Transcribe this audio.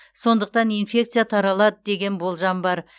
сондықтан инфекция таралады деген болжам бар